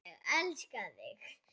Ég elska þig!